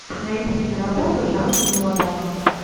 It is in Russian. найди киноработу жанра мелодрама